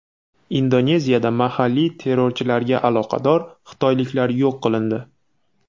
Indoneziyada mahalliy terrorchilarga aloqador xitoyliklar yo‘q qilindi.